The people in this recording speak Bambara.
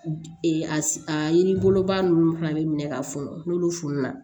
A yiri boloba ninnu fana be minɛ ka funu n'olu fununa